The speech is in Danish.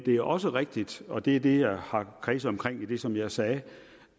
er også rigtigt og det er det jeg har kredset omkring i det som jeg sagde